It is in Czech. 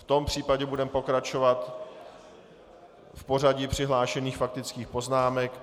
V tom případě budeme pokračovat v pořadí přihlášených faktických poznámek.